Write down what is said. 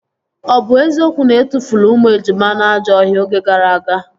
Ọ bụ eziokwu na etufuru ụmụ ejima na ajọ ọhịa oge gara aga?